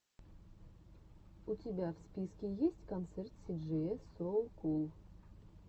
у тебя в списке есть концерт си джея соу кул